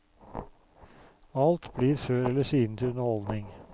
Alt blir før eller siden til underholdning.